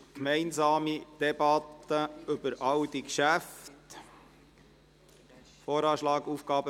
Wir führen eine gemeinsame Debatte über alle diese Geschäfte.